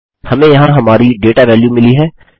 हमें यहाँ हमारी डेटा वेल्यू मिली है